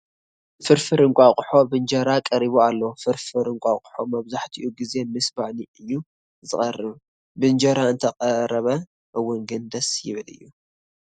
ፍርፍር እንቋቊሖ ብእንጀራ ቀሪቡ ኣሎ፡፡ ፍርፍር እንቋቊሖ መብዛሕትኡ ግዚ ምስ ባኒ እዩ ዝቐርብ፡፡ ብእንጀራ እንተቐረበ እውን ግን ደስ ይብል እዩ፡፡